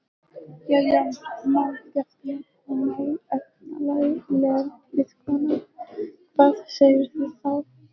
Jæja, málgefna og málefnalega vinkona, hvað segirðu þá?